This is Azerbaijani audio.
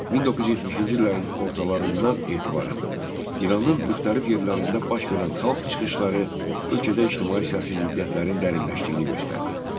1970-ci illərin ortalarından etibarən İranın müxtəlif yerlərində baş verən xalq çıxışları ölkədə ictimai-siyasi ziddiyyətlərin dərinləşdiyini göstərdi.